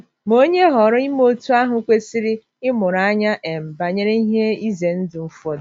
Ma, onye họọrọ ime otú ahụ kwesịrị ịmụrụ anya um banyere ihe ize ndụ ụfọdụ.